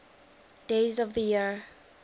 days of the year